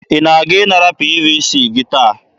Ị na-aga ịnara PVC gị taa?